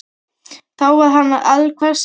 Þá var hann allhvass á sunnan.